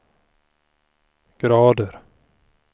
grader